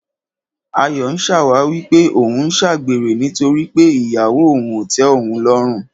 Ayọ̀ ń ṣàwáwí pé òun ń ṣàgbèrè nítorí pé ìyàwó òun ò tẹ́ òun lọ́rùn.